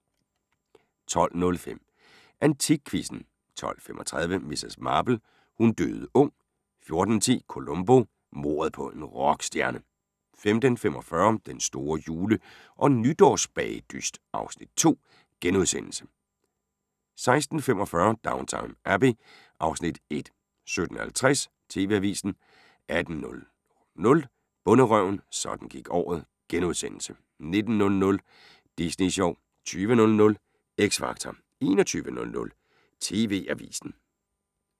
12:05: AntikQuizzen 12:35: Miss Marple: Hun døde ung 14:10: Columbo: Mordet på en rock-stjerne 15:45: Den store jule- og nytårsbagedyst (Afs. 2)* 16:45: Downton Abbey (Afs. 1) 17:50: TV-avisen 18:00: Bonderøven – sådan gik året ...* 19:00: Disney Sjov 20:00: X Factor 21:00: TV-avisen